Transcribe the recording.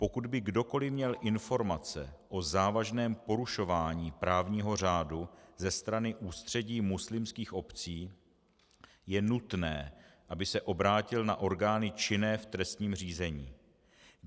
Pokud by kdokoli měl informace o závažném porušování právního řádu ze strany Ústředí muslimských obcí, je nutné, aby se obrátil na orgány činné v trestním řízení.